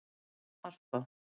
Harpa